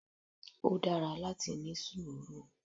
Ó dára láti ní sùúrù.